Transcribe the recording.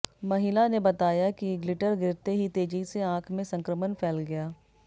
महिला ने बताया कि ग्लिटर गिरते ही तेजी से आंख में संक्रमण फैल गया